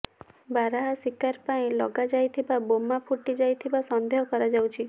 ବାରହା ଶିକାର ପାଇଁ ଲଗା ଯାଇଥିବା ବୋମା ଫୁଟି ଯାଇଥିବା ସନ୍ଦେହ କରାଯାଉଛି